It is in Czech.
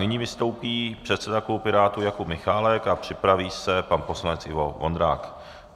Nyní vystoupí předseda klubu Pirátů Jakub Michálek a připraví se pan poslanec Ivo Vondrák.